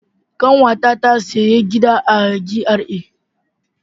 Kanwata ta sayi gida a GRA.